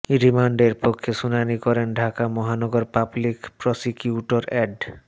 রিমান্ডের পক্ষে শুনানি করেন ঢাকা মহানগর পাবলিক প্রসিকিউটর অ্যাড